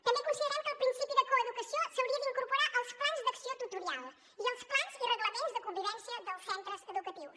també considerem que el principi de coeducació s’hauria d’incorporar als plans d’acció tutorial i als plans i reglaments de convivència dels centres educatius